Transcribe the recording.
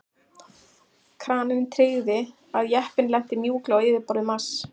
Kraninn tryggði að jeppinn lenti mjúklega á yfirborði Mars.